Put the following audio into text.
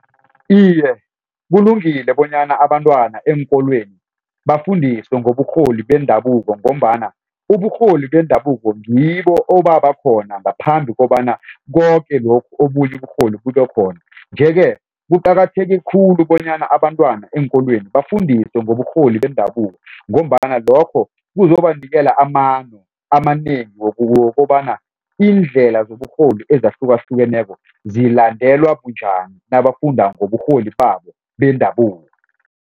Iye kulungile bonyana abantwana eenkolweni bafundiswe ngoburholi bendabuko ngombana uburholi bendabuko ngibo obabakhona ngaphambi kobana koke lokhu obunye uburholi bube khona. Nje-ke kuqakatheke khulu bonyana abantwana eenkolweni bafundiswe ngoburholi bendabuko ngombana lokho kuzobanikela amano amanengi wokobana iindlela zoburholi ezahlukahlukeneko zilandelwa bunjani nabafunda ngoburholi babo bendabuko.